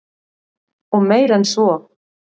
Og meir en svo.